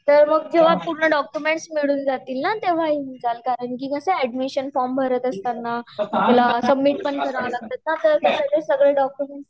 तर मग जेव्हा सगळे डॉक्युमेंट्स मिळून जातील ना तेव्हा येऊन जाल कारण की म्हणजे कस एड्मिशन फोरम भरत असताना सगळे डॉक्युमेंट्स लगतिल्च आपल्याला